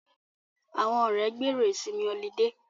Àwọn ọ̀rẹ́ gbèrò ìsinmi ọlidé